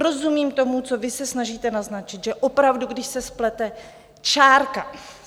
Rozumím tomu, co vy se snažíte naznačit, že opravdu, když se splete čárka...